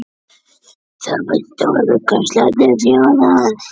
Það var stórkostlegt að sjá það.